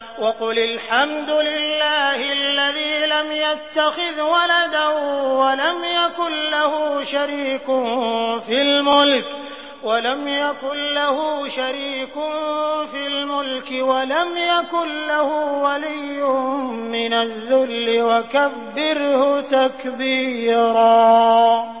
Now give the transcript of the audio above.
وَقُلِ الْحَمْدُ لِلَّهِ الَّذِي لَمْ يَتَّخِذْ وَلَدًا وَلَمْ يَكُن لَّهُ شَرِيكٌ فِي الْمُلْكِ وَلَمْ يَكُن لَّهُ وَلِيٌّ مِّنَ الذُّلِّ ۖ وَكَبِّرْهُ تَكْبِيرًا